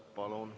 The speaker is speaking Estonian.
Palun!